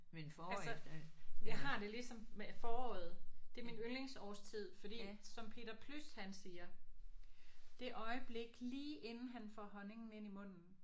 Altså jeg har det ligesom med foråret det er min yndlingsårstid fordi som Peter Plys han siger. Det øjeblik lige inden han får honningen ind i munden